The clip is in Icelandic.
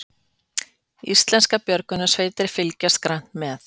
Íslenskar björgunarsveitir fylgjast grannt með